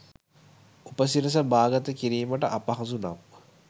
උපසිරස බා ගත කිරීමට අපහසු නම්